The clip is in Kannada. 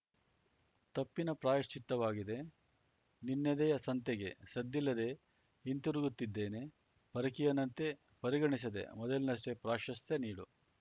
ತಪ್ಪಿನ ಪ್ರಾಯಶ್ಚಿತ್ತವಾಗಿದೆ ನಿನ್ನೆದೆಯ ಸಂತೆಗೆ ಸದ್ದಿಲ್ಲದೇ ಹಿಂತಿರುಗುತ್ತಿದ್ದೇನೆ ಪರಕೀಯನಂತೆ ಪರಿಗಣಿಸದೆ ಮೊದಲಿನಷ್ಟೇ ಪ್ರಾಶಸ್ತ್ಯ ನೀಡು